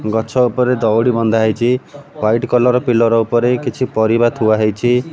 ଗଛ ଉପରେ ଦଉଡ଼ି ବନ୍ଧାହେଇଛି ୱାଇଟ୍ କଲର୍ ପିଲର୍ ଉପରେ କିଛି ପରିବା ଥୁଆହେଇଛି।